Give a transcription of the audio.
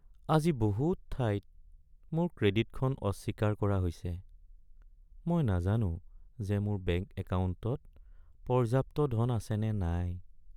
আজি বহুত ঠাইত মোৰ ক্ৰেডিটখন অস্বীকাৰ কৰা হৈছে। মই নাজানো যে মোৰ বেংক একাউণ্টত পৰ্যাপ্ত ধন আছেনে নাই।